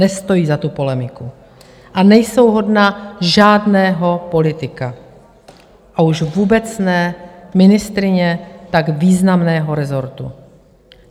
Nestojí za tu polemiku a nejsou hodna žádného politika, a už vůbec ne ministryně tak významného resortu.